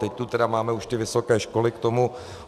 Teď tu tedy máme už ty vysoké školy k tomu.